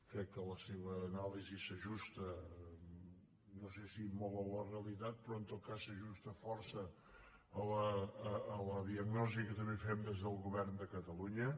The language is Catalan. crec que la seva anàlisi s’ajusta no sé si molt a la realitat però en tot cas s’ajusta força a la diagnosi que també en fem des del govern de catalunya